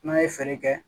N'a ye feere kɛ